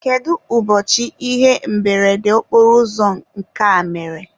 kedu ụbọchị ihe mberede okporoụzọ nke a mere?